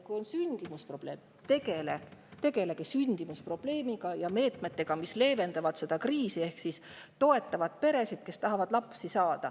Kui on sündimuse probleem, siis tegelegegi sündimuse probleemiga ja nende meetmetega, mis seda kriisi leevendavad ehk toetavad peresid, kes tahavad lapsi saada.